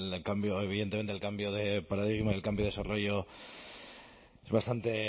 cambio evidentemente el cambio de paradigma el cambio de desarrollo es bastante